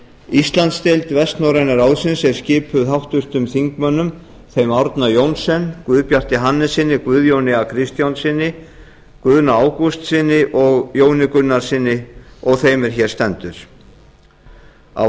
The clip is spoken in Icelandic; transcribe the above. íslandsdeild vestnorræna ráðsins er skipuð háttvirtur þingmaður þeim árna johnsen guðbjarti hannessyni guðjóni a kristjánssyni guðna ágústssyni og jóni gunnarssyni og þeim er hér stendur á